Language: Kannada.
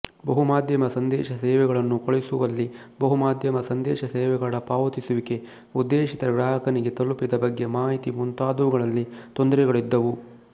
ಬಹುಮಾಧ್ಯಮ ಸಂದೇಶ ಸೇವೆಗಳನ್ನು ಕಳುಹಿಸುವಲ್ಲಿ ಬಹುಮಾಧ್ಯಮ ಸಂದೇಶ ಸೇವೆಗಳ ಪಾವತಿಸುವಿಕೆ ಉದ್ದೇಶಿತ ಗ್ರಾಹಕನಿಗೆ ತಲುಪಿದ ಬಗ್ಗೆ ಮಾಹಿತಿ ಮುಂತಾದವುಗಳಲ್ಲಿ ತೊಂದರೆಗಳಿದ್ದವು